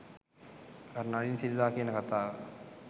අර නලින් සිල්වා කියන කතාව